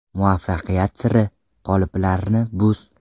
Muvaffaqiyat siri: Qoliplarni buz!